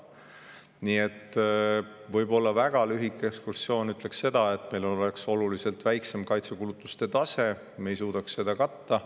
Nii et kui väga lühidalt öelda, siis meil oleks oluliselt madalam kaitsekulutuste tase, me ei suudaks seda katta.